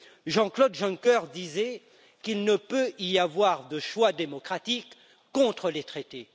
Jean Claude Juncker disait qu'il ne peut y avoir de choix démocratique contre les traités.